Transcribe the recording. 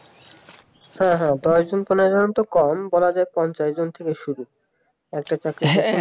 হ্যাঁ হ্যাঁ দশ জন পনেরো জন কম বলা যায় পঞ্চাশ জন থেকে শুরু একটা চাকরির জন্য